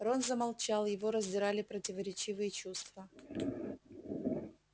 рон замолчал его раздирали противоречивые чувства